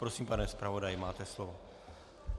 Prosím, pane zpravodaji, máte slovo.